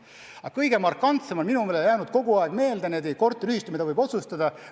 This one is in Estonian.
Aga kõige markantsemana on mulle jäänud meelde üks teine korteriühistu oma otsusega.